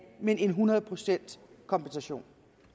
men en hundrede procent kompensation